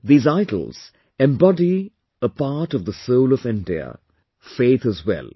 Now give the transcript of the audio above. These idols embody a part of the soul of India; faith as well